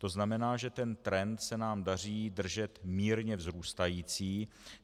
To znamená, že ten trend se nám daří držet mírně vzrůstající.